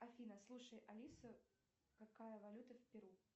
афина слушай алиса какая валюта в перу